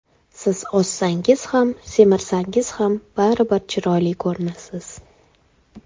Siz ozsangiz ham, semirsangiz ham baribir chiroyli ko‘rinasiz.